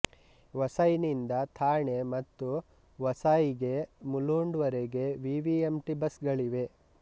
ವಸೈನಿಂದ ಥಾಣೆ ಮತ್ತು ವಸಾಯಿಗೆ ಮುಲುಂಡ್ ವರೆಗೆ ವಿವಿಎಂಟಿ ಬಸ್ಗಳಿವೆ